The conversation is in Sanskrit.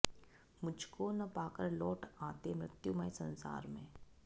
मुझको न पाकर लौट आते मृत्युमय संसार में